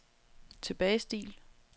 tilbagestil